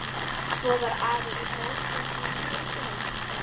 Svo var afi líka oddviti í sveitinni.